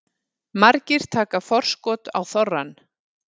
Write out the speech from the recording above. Margir taka forskot á þorrann